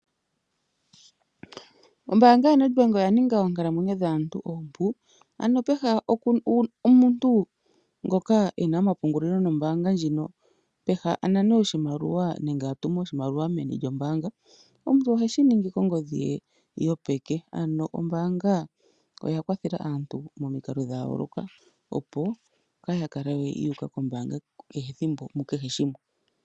Ombaanga yoBank Windhoek oya ninga oonkalamwenyo dhaantu oompu. Ano pehala omuntu ena ompungulilo nombaanga ndjino , pehala anane oshimaliwa nenge atume oshimaliwa meni lyombaanga , omuntu ohe shi ningi kongodhi yopeke, ano ombaanga oya kwathela aantu momikalo dhayoolokathana opo kaaya kale yuuka kombaanga kehe ethimbo, mukehe shimwe.